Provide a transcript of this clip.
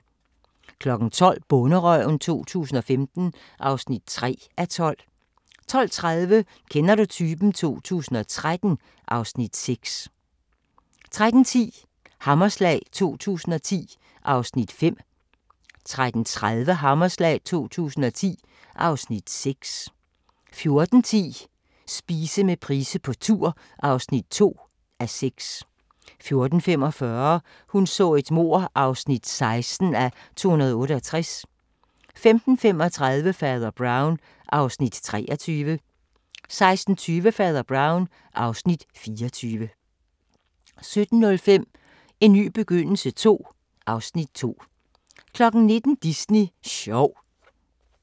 12:00: Bonderøven 2015 (3:12) 12:30: Kender du typen? 2013 (Afs. 6) 13:10: Hammerslag 2010 (Afs. 5) 13:40: Hammerslag 2010 (Afs. 6) 14:10: Spise med Price på tur (2:6) 14:45: Hun så et mord (16:268) 15:35: Fader Brown (Afs. 23) 16:20: Fader Brown (Afs. 24) 17:05: En ny begyndelse II (Afs. 2) 19:00: Disney sjov